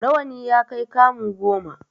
Rawani ya kai kamu goma.